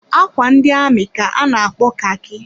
Ákwà ndị amị ka a na-akpo khaki.